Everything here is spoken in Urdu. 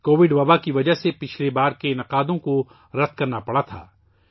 کووڈ کی وباء کی وجہ سے پچھلے ایونٹس کو منسوخ کرنا پڑا تھا